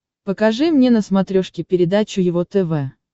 покажи мне на смотрешке передачу его тв